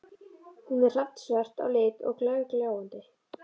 Hún er hrafnsvört á lit og glergljáandi.